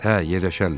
Hə, yerləşərlər.